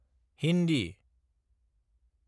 Hindi